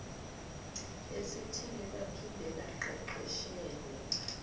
esithile baphinde baqeqeshelwe